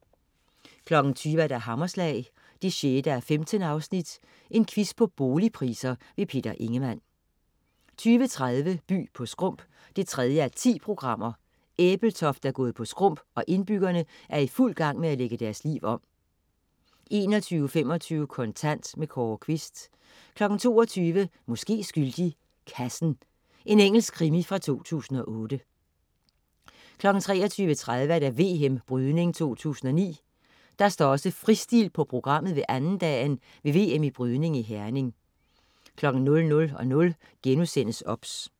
20.00 Hammerslag 6:15. Quiz på boligpriser. Peter Ingemann 20.30 By på skrump 3:10. Ebeltoft er gået på skrump, og indbyggerne er i fuld gang med at lægge deres liv om 21.25 Kontant. Kåre Quist 22.00 Måske skyldig. Kassen. Engelsk krimi fra 2008 23.30 VM Brydning 2009. Der står også fristil på programmet ved andendagen ved VM i brydning i Herning 00.00 OBS*